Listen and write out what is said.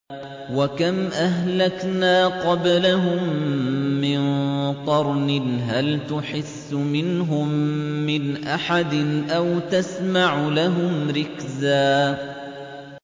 وَكَمْ أَهْلَكْنَا قَبْلَهُم مِّن قَرْنٍ هَلْ تُحِسُّ مِنْهُم مِّنْ أَحَدٍ أَوْ تَسْمَعُ لَهُمْ رِكْزًا